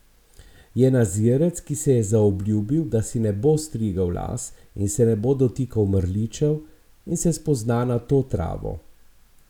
Je nazirec, ki se je zaobljubil, da si ne bo strigel las in se ne bo dotikal mrličev, in se spozna na to travo.